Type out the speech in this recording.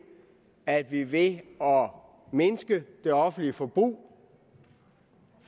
at vi ved at mindske det offentlige forbrug